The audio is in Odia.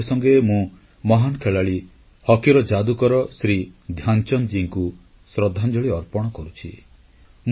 ତା ସଙ୍ଗେ ସଙ୍ଗେ ମୁଁ ମହାନ୍ ଖେଳାଳି ହକିର ଯାଦୁକର ଶ୍ରୀ ଧ୍ୟାନଚାନ୍ଦଙ୍କୁ ଶ୍ରଦ୍ଧାଞ୍ଜଳି ଅର୍ପଣ କରୁଛି